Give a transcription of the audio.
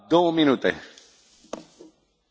Herr Präsident, liebe Kolleginnen und Kollegen!